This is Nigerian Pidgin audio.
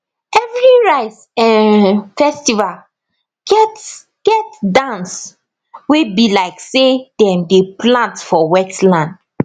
every rice um festival get get dance wey be like say dem dey plant for wetland